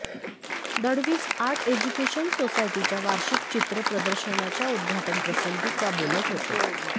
Dalvi's art education सोसायटीच्या वार्षिक चित्र प्रदर्शनाच्या उद्घाटनप्रसंगी त्या बोलत होत्या